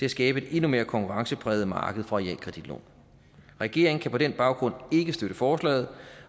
at skabe et endnu mere konkurrencepræget marked for realkreditlån regeringen kan på den baggrund ikke støtte forslaget